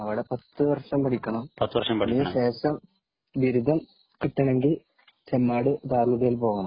അവിടെ പത്തു വര്ഷം പേപഠിക്കണം ടിക്കണം അതിനുശേഷം ബിരുദം കിട്ടണമെങ്കിൽ ചെമ്മാട് ദാറുൽ ഹുദയിൽ പോണം